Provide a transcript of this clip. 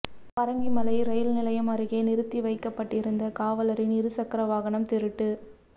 Parangimalai rail நிலையம் அருகே நிறுத்தி வைக்கப்பட்டிருந்த காவலரின் இருசக்கர வாகனம் திருட்டு